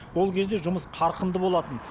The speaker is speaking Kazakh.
ол кезде жұмыс қарқынды болатын